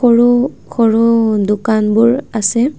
সৰু সৰু দোকানবোৰ আছে।